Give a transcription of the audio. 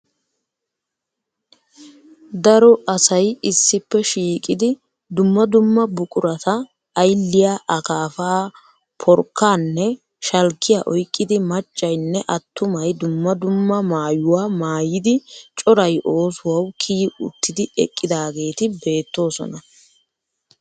Daro asay issippe shiiqidi dumma dumma buqurata aylliya, akaafaa, porkkaanne shalkkiya oyqqidi maccay nne attumay dumma dumma maayuwa maayidi coray oosuwawu kiyi uttidi eqqidaageeti beettoosona